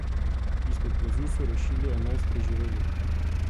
Izpod plazu so rešili enajst preživelih.